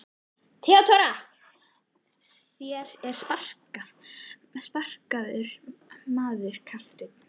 THEODÓRA: Þér eruð spakur maður, kafteinn.